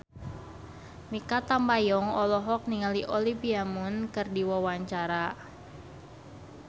Mikha Tambayong olohok ningali Olivia Munn keur diwawancara